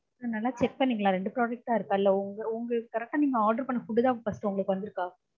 sir நல்லா check பண்ணிங்களா ரெண்டு products தான் இருக்கா? இல்ல உங்க~ உங்களுக்கு correct ஆ நீங்க order பண்ண food தான் first உங்களுக்கு வந்துருக்கா?